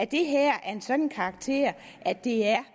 det her er af en sådan karakter at det er